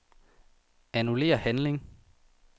Annullér handling.